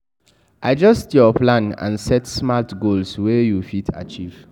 Adjust your plan and set smart goals wey you fit achieve